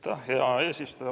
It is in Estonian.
Aitäh, hea eesistuja!